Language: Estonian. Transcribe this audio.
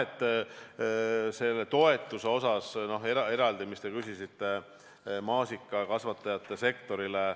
Aga jah, sellest toetusest, mille kohta te eraldi küsisite, maasikakasvatajate sektorile.